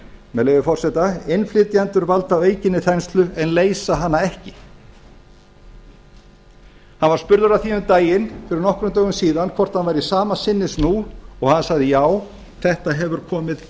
með leyfi forseta innflytjendur valda aukinni þenslu en leysa hana ekki hann var spurður að því um daginn fyrir nokkrum dögum síðan hvort hann væri sama sinnis nú og hann sagði já þetta hefur